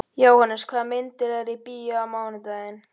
Jóhannes, hvaða myndir eru í bíó á mánudaginn?